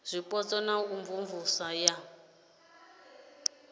zwipotso na u imvumvusa ya